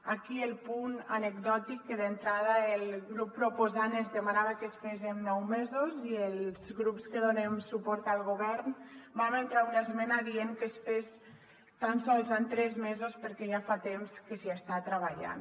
aquí el punt anecdòtic que d’entrada el grup proposant ens demanava que es fes en nou mesos i els grups que donem suport al govern vam entrar una esmena dient que es fes tan sols en tres mesos perquè ja fa temps que s’hi està treballant